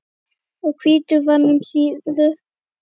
og hvítur vann um síðir.